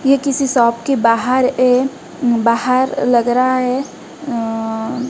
ये किसी शॉप के बाहर ये बाहर लग रहा है अ--